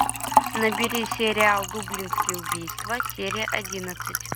набери сериал дублинские убийства серия одиннадцать